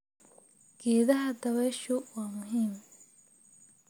Geedaha dabayshu waa muhiim.